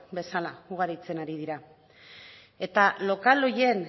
bezala ugaritzen ari dira eta lokal horien